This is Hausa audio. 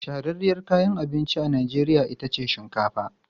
Shahararriyar kayan abinci a Najeriya ita ce shinkafa.